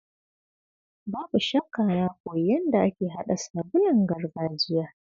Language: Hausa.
Babu shakka na koyi yadda ake hada sabulun gargajiya.